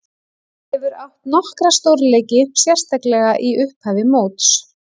Hefur átt nokkra stórleiki, sérstaklega í upphafi móts.